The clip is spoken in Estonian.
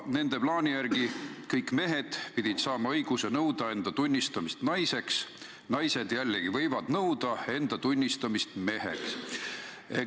Nende plaani järgi pidid kõik mehed saama õiguse nõuda enda tunnistamist naiseks, naised jällegi võivad nõuda enda tunnistamist meheks.